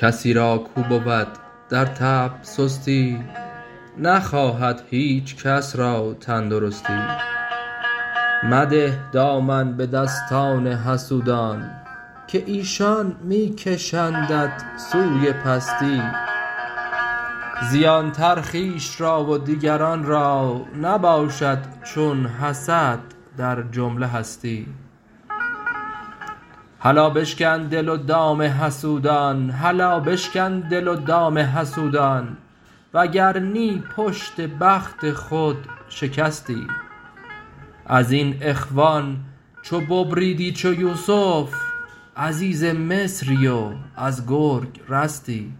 کسی کاو را بود در طبع سستی نخواهد هیچ کس را تندرستی مده دامن به دستان حسودان که ایشان می کشندت سوی پستی زیان تر خویش را و دیگران را نباشد چون حسد در جمله هستی هلا بشکن دل و دام حسودان وگر نی پشت بخت خود شکستی از این اخوان چو ببریدی چو یوسف عزیز مصری و از گرگ رستی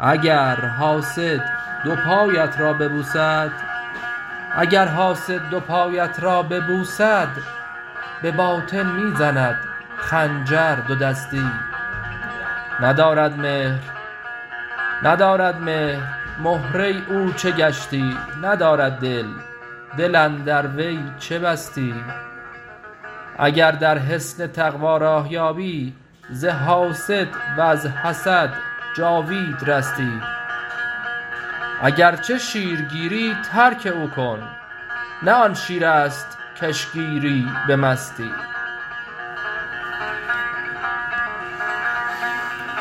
اگر حاسد دو پایت را ببوسد به باطن می زند خنجر دودستی ندارد مهر مهره او چه گشتی ندارد دل دل اندر وی چه بستی اگر در حصن تقوا راه یابی ز حاسد وز حسد جاوید رستی اگر چه شیرگیری ترک او کن نه آن شیر است کش گیری به مستی